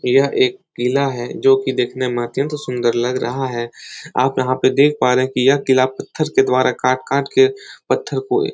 यह एक किला है जो कि देखने में अत्यंत सुंदर लग रहा है। आप यहाँ पे देख पा रहे हैं कि यह किला पत्थर के द्वारा काट काट के पत्थर को--